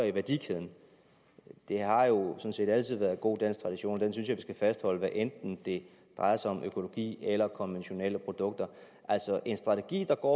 i værdikæden det har jo sådan set altid været god dansk tradition og den synes jeg at vi skal fastholde hvad enten det drejer sig om økologiske eller konventionelle produkter altså en strategi der går